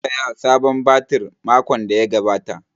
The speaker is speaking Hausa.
An saya sabon batir makon da ya gabata